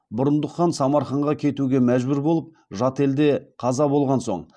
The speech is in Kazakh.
бұрындық хан самарқанға кетуге мәжбүр болып жат елде қаза болған соң